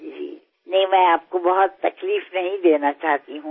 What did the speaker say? నేను మిమ్మల్ని ఎక్కువ శ్రమ పెట్టకూడదనుకుంటాను